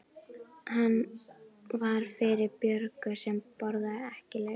Hann var fyrir Björgu sem borðaði ekki lauk.